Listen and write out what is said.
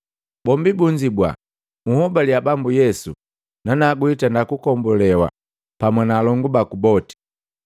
Bombi bunzibwa, “Unhobalia Bambu Yesu nanagu witenda kugombolewa pamu na alongu baku boti.”